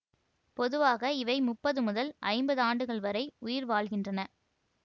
பொதுவாக இவை முப்பது முதல் ஐம்பது ஆண்டுகள் வரை உயிர் வாழ்கின்றன